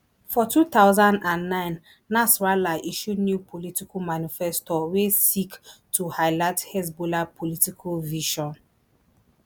for two thousand and nine nasrallah issue new political manifesto wey seek to highlight hezbollah political vision